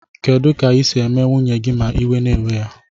Kedu ka isi eme nwunye gi ma iwe na ewe ya?